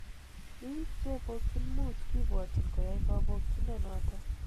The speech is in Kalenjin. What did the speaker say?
Bik chepokyin mut kibwotyin koyai kobokyino noton.